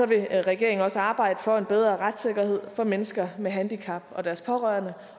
vil regeringen også arbejde for en bedre retssikkerhed for mennesker med handicap og deres pårørende